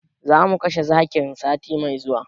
Zamu kashe zakin sati mai zuwa